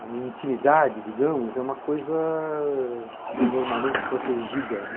A minha intimidade, digamos, é uma coisa normalmente protegida.